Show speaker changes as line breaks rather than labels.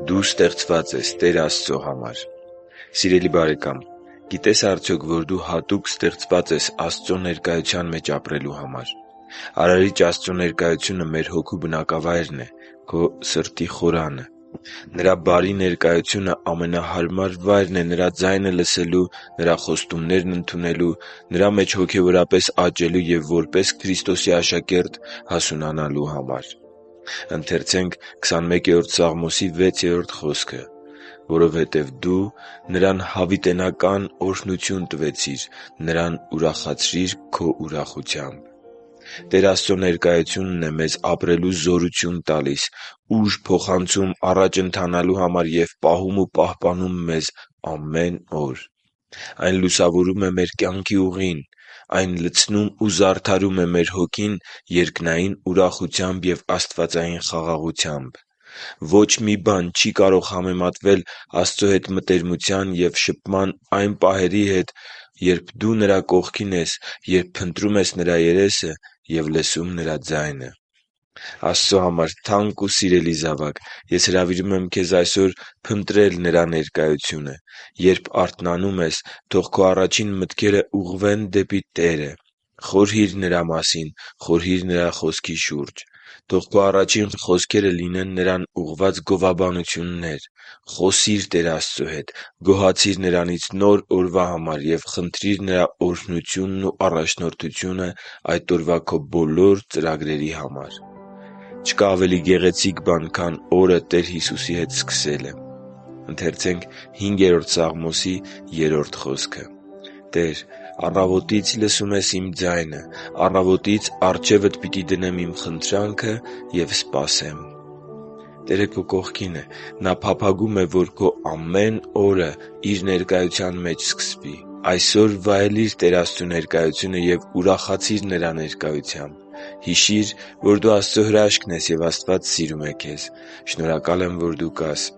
Դու ստեղծված ես Տեր Աստծո համար Սիրելի՛ բարեկամ, գիտե՞ս արդյոք, որ դու հատուկ ստեղծված ես Աստծո ներկայության մեջ ապրելու համար: Արարիչ Աստծո ներկայությունը մեր հոգու բնակավայրն է՝ քո սրտի խորանը: Նրա բարի ներկայությունը ամենահարմար վայրն է Նրա ձայնը լսելու, Նրա խոստումներն ընդունելու, Նրա մեջ հոգևորապես աճելու և որպես Քրիստոսի աշակերտ հասունանալու համար: «Որովհետև դու նրան հավիտենական օրհնություն տվեցիր. նրան ուրախացրիր Քո ուրախությամբ» (Սաղմոս 21.6)։ Տեր Աստծո ներկայությունն է մեզ ապրելու զորություն տալիս, ուժ փոխանցում առաջ ընթանալու համար և պահում ու պահպանում է մեզ ամեն օր: Այն լուսավորում է մեր կյանքի ուղին: Այն լցնում ու զարդարում է մեր հոգին երկնային ուրախությամբ և աստվածային խաղաղությամբ: Ոչ մի բան չի կարող համեմատվել Աստծո հետ մտերմության և շփման այն պահերի հետ, երբ դու Նրա կողքին ես, երբ փնտրում ես Նրա երեսը և լսում Նրա ձայնը: Աստծո համար թանկ ու սիրելի՛ զավակ, ես հրավիրում եմ քեզ այսօր փնտրել Նրա ներկայությունը: Երբ արթանանում ես, թող քո առաջին մտքերը ուղղվեն դեպի Տերը։ Խորհի՛ր Նրա մասին։ Խորհի՛ր Նրա Խոսքի շուրջ։ Թող քո առաջին խոսքերը լինեն Նրան ուղղված գովաբանություններ: Խոսի՛ր Տեր Աստծո հետ։ Գոհացի՛ր Նրանից նոր օրվա համար և խնդրի՛ր Նրա օրհնությունն ու առաջնորդությունը այդ օրվա քո բոլոր ծրագրերի համար։ Չկա ավելի գեղեցիկ բան, քան օրը Տեր Հիսուսի հետ սկսելը: «Տե՛ր, առավոտից լսում ես իմ ձայնը, առավոտից առջևդ պիտի դնեմ իմ խնդրանքը և սպասեմ» (Սաղմոս 5.3)։ Տերը քո կողքին է։ Նա փափագում է, որ քո ամեն օրը Իր ներկայության մեջ սկսվի։ Այսօր վայելի՛ր Տեր Աստծու ներկայությունը և ուրախացի՛ր Նրա ներկայությամբ: Հիշի՛ր, որ դու Աստծո հրաշքն ես, և Աստված սիրում է քեզ։ Շնորհակալ եմ, որ դու կա՛ս